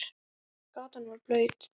Gatan var blaut.